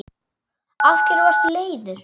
Af hverju varstu leiður?